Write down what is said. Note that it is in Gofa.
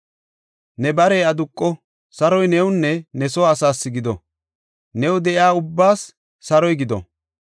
‘Ne barey aduqo! Saroy newunne ne soo asaas gido; new de7iya ubbaas saroy gido!